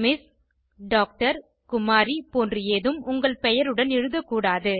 MS திர் குமாரி போன்று ஏதும் உங்கள் பெயருடன் எழுதக்கூடாது